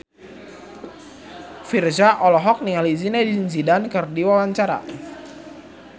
Virzha olohok ningali Zidane Zidane keur diwawancara